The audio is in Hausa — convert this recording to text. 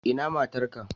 Ina matar ka?